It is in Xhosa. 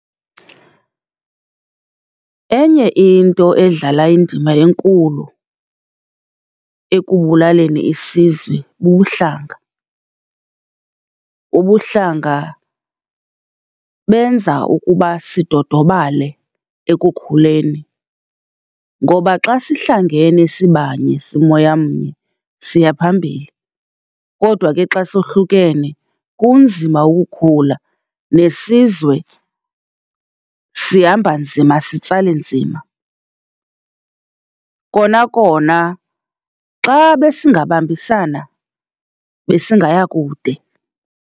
Enye into edlala indima enkulu ekubulaleni isizwe bubuhlanga. Ubuhlanga benza ukuba sidodobale ekukhuleni, ngoba xa sihlangene sibanye, simoya mnye, siya phambili kodwa ke xa sohlukene kunzima ukukhula nesizwe sihamba nzima sitsale nzima. Kona kona xa besingabambisana besingaya kude.